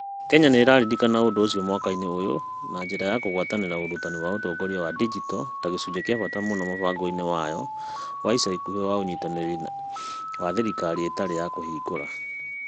Kenya nĩ ĩraririkana ũndũ ũcio mwaka ũyũ na njĩra ya kũgwatanĩra ũrutani wa ũtongoria wa digito ta gĩcunjĩ kĩa bata mũno mũbango-inĩ wayo wa ica ikuhĩ wa Ũnyitanĩri wa Thirikari Ĩtarĩ ya Kũhingũra .